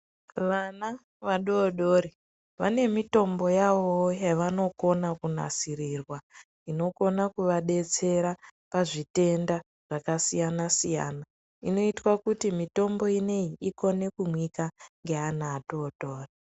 Vana vadodori vane mitombo yavowo yavonokone kunasirirwa inokona kuvadetsera pazvitenda zvakasiyanasiyana inotwa kuti mitombo inoyi ikone kumwika neana atotori.